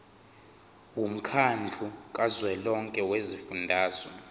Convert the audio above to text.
womkhandlu kazwelonke wezifundazwe